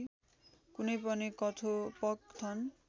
कुनै पनि कथोपकथन